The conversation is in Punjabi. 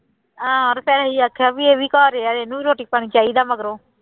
ਹਾਂ ਤੇ ਫਿਰ ਅਸੀਂ ਆਖਿਆ ਵੀ ਇਹ ਵੀ ਘਰ ਹੀ ਆ ਇਹਨੂੰ ਵੀ ਰੋਟੀ ਪਾਣੀ ਚਾਹੀਦਾ ਮਗਰੋਂ।